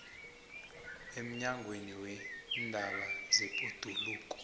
emnyangweni weendaba zebhoduluko